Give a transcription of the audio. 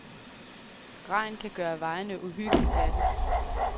Regn kan gøre vejene uhyggeligt glatte.